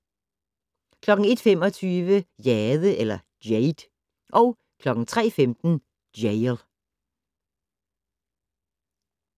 01:25: Jade 03:15: Jail